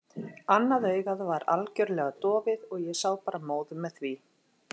Annað augað var algjörlega dofið og ég sá bara móðu með því.